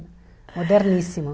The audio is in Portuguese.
Moderníssimo.